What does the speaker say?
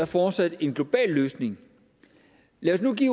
fortsat er en global løsning lad os nu give